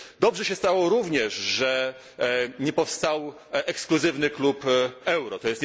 Dobrze się stało również, że nie powstał ekskluzywny klub euro.